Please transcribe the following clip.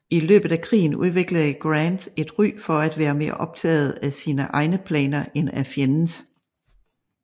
I løbet af krigen udviklede Grant et ry for at være mere optaget af sine egne planer end af fjendens